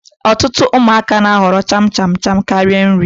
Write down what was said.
Ọtụtụ ụmụaka na-ahọrọ cham cham cham karịa nri